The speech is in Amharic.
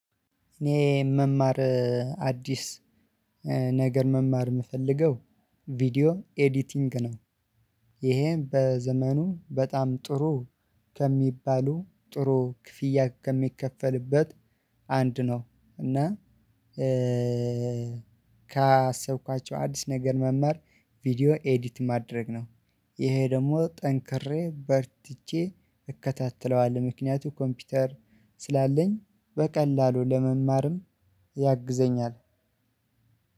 እኔ መማር አዲስ ነገር መማር የምፈልገው ቪዲዮ ኤዲቲንግ ነው። ይሄን በዘመኑ በጣም ጥሩ ከሚባሉ ጥሩ ክፍያ ከሚከፈልበት አንድ ነው። እና ካሰብኳቸው አዲስ ነገር መማር ቪደወ ኤዲት ማድረግ ነው። ይሄ ደግሞ ጠንክሬ በርትቼ እከታተለዋለሁ ምክንያቱ ኮምፒውተር ስላለኝ በቀላሉ ለመማርም ያግዘኛል።